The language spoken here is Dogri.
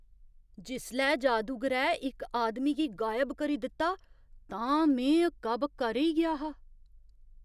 जिसलै जादूगरै इक आदमी गी गायब करी दित्ता तां में हक्का बक्का रेही गेआ हा!